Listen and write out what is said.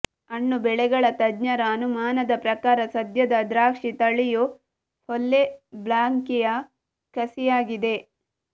ಹಣ್ಣು ಬೆಳೆಗಳ ತಜ್ಞರ ಅನುಮಾನದ ಪ್ರಕಾರ ಸದ್ಯದ ದ್ರಾಕ್ಷಿ ತಳಿಯು ಫೊಲ್ಲೆ ಬ್ಲಾಂಕೆಯ ಕಸಿಯಾಗಿದೆ